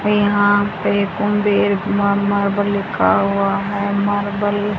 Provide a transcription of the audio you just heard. यहां पे कुंबेर मा मार्बल लिखा हुआ है मार्बल --